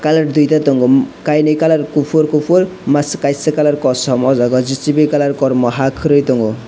colour duita tongo kainwi colour kuphur kuphur masa kaisa colour kosom oh jaga jcb ni colour kormo haa khurui tongo.